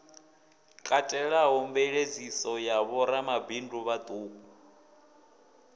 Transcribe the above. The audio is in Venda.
katelaho mveladziso ya vhoramabindu vhauku